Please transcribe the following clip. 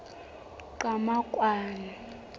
qhamakwane